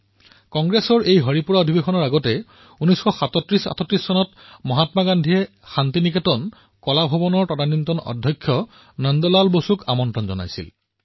কংগ্ৰেছ হৰিপুৰা অধিৱেশনৰ পূৰ্বে ১৯৩৭৩৮ চনত মহাত্মা গান্ধীয়ে শান্তি নিকেতনৰ কলা ভৱনৰ তৎকালীন অধ্যক্ষ নন্দ লাল বসুক আমন্ত্ৰণ জনাইছিল